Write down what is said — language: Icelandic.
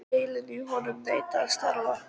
Heilinn í honum neitaði að starfa.